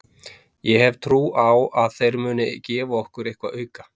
Ég hef trú á að þeir muni gefa okkur eitthvað auka.